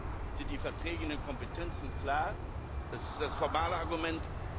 Erstens sind die Verträge und die Kompetenzen klar das ist das formale Argument.